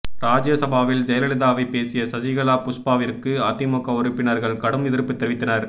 ராஜ்யசபாவில் ஜெயலலிதாவை பேசிய சசிகலா புஷ்பாவிற்கு அதிமுக உறுப்பினர்கள் கடும் எதிர்ப்பு தெரிவித்தனர்